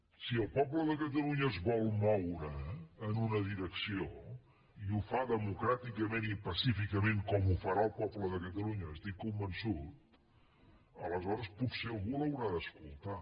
si el poble de catalunya es vol moure en una direcció i ho fa democràticament i pacíficament com ho farà el poble de catalunya n’estic convençut aleshores potser algú l’haurà d’escoltar